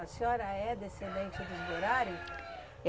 A senhora é descendente de Borari?